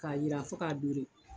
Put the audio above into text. Ka jira fo k'a dure.